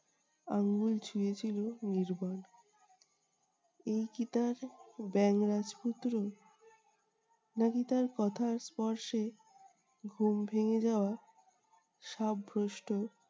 আঙ্গুল ছুঁয়েছিল নির্বাণ। এই কি তার ব্যাঙ রাজপুত্র! না-কি তার কথার স্পর্শে ঘুম ভেঙ্গে যাওয়া সব ভ্রষ্ট